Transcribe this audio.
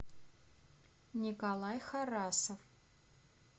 николай харасов